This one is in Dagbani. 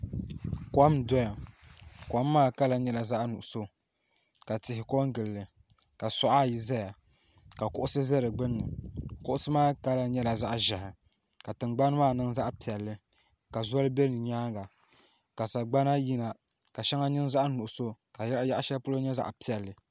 Kom n soya kom maa kala nyɛla zaɣi nuɣiso ka tihi ko n gili li ka auɣa ayi zaya ka kuɣusi za di gnubi kuɣusi maa kala nyɛla zaɣi zɛhi ka tiŋgbani maa niŋ zaɣi piɛli ka zoli bɛ si yɛanga ka sagbana yina ka shɛŋa niŋ zaɣi nuɣiso ka si yaɣi shɛli polo nyɛ zaɣi piɛli.